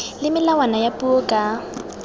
le melawana ya puo ka